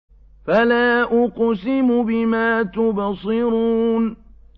فَلَا أُقْسِمُ بِمَا تُبْصِرُونَ